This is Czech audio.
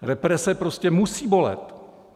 Represe prostě musí bolet.